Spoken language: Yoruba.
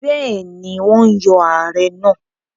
Bẹ́ẹ̀ni, wọ́n yọ Ààrẹ náà.